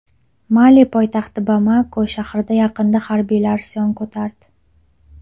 Mali poytaxti Bamako shahri yaqinida harbiylar isyon ko‘tardi.